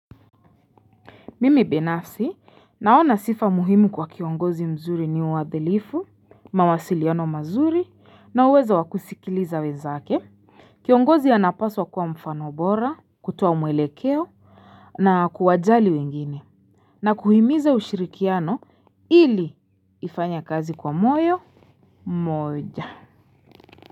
Mimi binafsi naona sifa muhimu kwa kiongozi mzuri ni wadhilifu, mawasiliano mazuri, na uwezo wa kusikiliza wenzake. Kiongozi anapaswa kuwa mfano bora, kutoa mwelekeo, na kuwajali wengine. Na kuhimiza ushirikiano ili ifanye kazi kwa moyo moja.